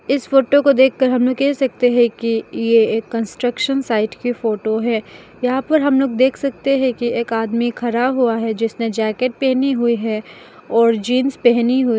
इस फोटो को देखकर हमें कह सकते हैं कि ये एक कंस्ट्रक्शन साइट की फोटो है यहां पर हम लोग देख सकते हैं कि एक आदमी खरा हुआ है जिसने जैकेट पहनी हुई है और जींस पहनी हुई है।